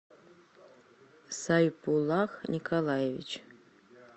сайбулах николаевич